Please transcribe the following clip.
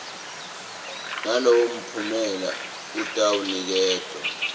nalowo mphumela atawuniketwa